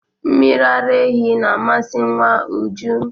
Mmiri ara ehi na-amasị nwa Uju.